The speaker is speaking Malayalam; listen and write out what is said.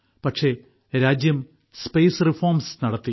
പക്ഷേ രാജ്യം ബഹിരാകാശ രംഗത്ത് പരിഷ്ക്കാരങ്ങൾ നടപ്പാക്കി